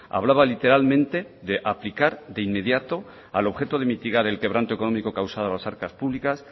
hablaba literalmente de aplicar de inmediato al objeto de mitigar el quebranto económico causado a las arcas públicas